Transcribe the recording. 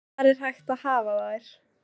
Hvar er hægt að hafa þær?